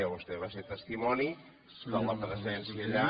vostè va ser testimoni de la presència allà